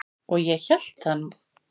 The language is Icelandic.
Og ég hélt það nú.